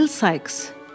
Bill Sikes.